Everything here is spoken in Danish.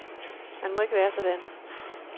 Man må ikke være sådan.